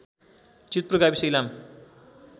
जितपुर गाविस इलाम